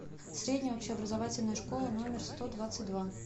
средняя общеобразовательная школа номер сто двадцать два